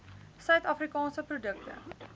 suid afrikaanse produkte